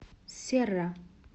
серра